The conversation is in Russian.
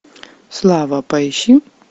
слава поищи